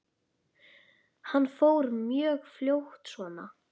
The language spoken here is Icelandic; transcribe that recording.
Hann fór mjög fljótt svona.